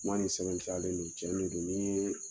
Kuma ni sɛbɛn tiyalen don cɛ de don ni ye